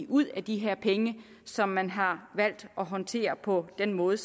ud af de penge som man har valgt at håndtere på den måde